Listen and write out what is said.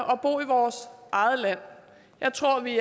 og bo i vores eget land jeg tror vi